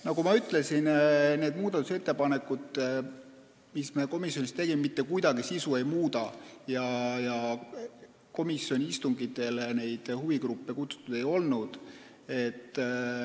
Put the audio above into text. Nagu ma ütlesin, need muudatusettepanekud, mis me komisjonis tegime, ei muuda mitte kuidagi eelnõu sisu ja komisjoni istungitele neid huvigruppe ei kutsutud.